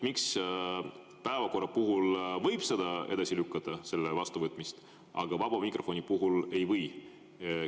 Miks päevakorra võib edasi lükata, aga vaba mikrofoni ei või?